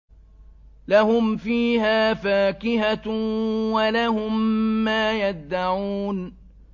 لَهُمْ فِيهَا فَاكِهَةٌ وَلَهُم مَّا يَدَّعُونَ